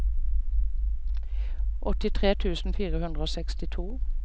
åttitre tusen fire hundre og sekstito